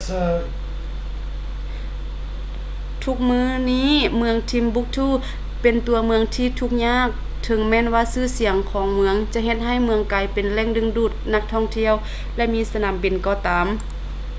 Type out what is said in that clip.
ທຸກມື້ນີ້ ເມືອງ timbuktu ເປັນຕົວເມືອງທີ່ທຸກຍາກ ເຖິງແມ່ນວ່າຊື່ສຽງຂອງເມືອງຈະເຮັດໃຫ້ເມືອງກາຍເປັນແຫຼ່ງດຶງດູດນັກທ່ອງທ່ຽວ ແລະ ມີສະໜາມບິນກໍຕາມ